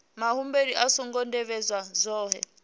muhumbeli a songo tevhedza zwohe